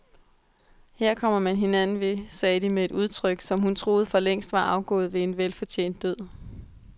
Her kommer man hinanden ved, sagde de med et udtryk, som hun troede forlængst var afgået ved en velfortjent død.